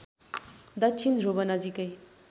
दक्षिण ध्रुव नजिकै